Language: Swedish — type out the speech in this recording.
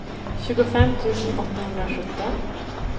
tjugofem tusen åttahundrasjutton